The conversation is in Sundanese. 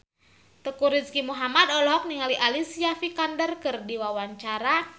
Teuku Rizky Muhammad olohok ningali Alicia Vikander keur diwawancara